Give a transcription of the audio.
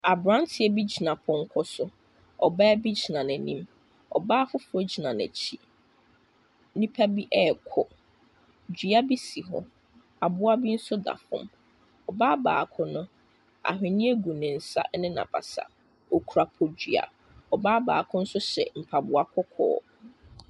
Aberanteɛ bi tena pɔnkɔ so. Ɔbaa bi gyina n'anim. Ɔbaa foforɔ gyina n'akyi. Nnipa bi rekɔ. Dua bi si hɔ. Aboa bi nso da fam. Ɔbaa baako no, ahwenneɛ gu ne nsa ne n'abasa. Ɔkura podua. Ɔbaa baako nso hyɛ mpaboa kɔkɔɔ.